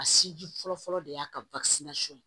A sinji fɔlɔ fɔlɔ de y'a ka ye